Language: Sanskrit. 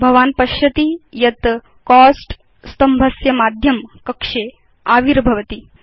भवान् पश्यति यत् कोस्ट स्तम्भस्य माध्यं कक्षे आविर्भवति